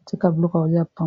etika biloka kolia pan